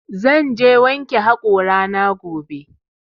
Zan je wanke haƙora na gobe